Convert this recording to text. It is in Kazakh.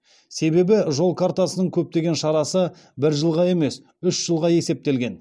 себебі жол картасының көптеген шарасы бір жылға емес үш жылға есептелген